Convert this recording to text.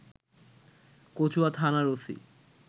কচুয়া থানার ওসি